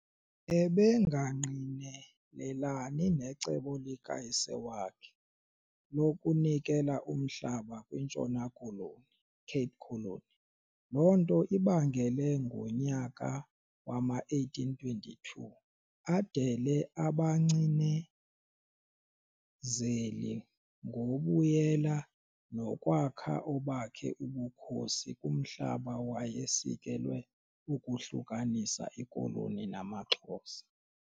Ebengangqinelelani necebo likayise wakhe lokunikela umhlaba kwiNtshona Koloni Cape Colony, lonto ibangele ngonyaka wama-1822 adele abankcinezeli ngobuyela nokwakha obakhe ubkhosi kumhlaba wayesikelwe ukuhlukanisa iKoloni namaXhosa.